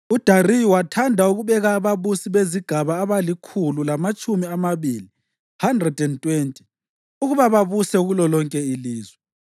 UDariyu wathanda ukubeka ababusi bezigaba abalikhulu lamatshumi amabili (120) ukuba babuse kulolonke ilizwe,